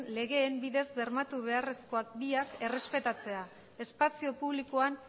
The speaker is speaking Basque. legeen bidez bermatu beharrezkoak biak errespetatzea espazio publikoan